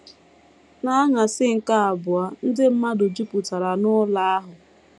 N’anyasị nke abụọ, ndị mmadụ jupụtara n’ụlọ ahụ. ”